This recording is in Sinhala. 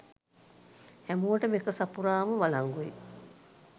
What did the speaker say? හැමෝටම ඒක සපුරාම වලංගුයි.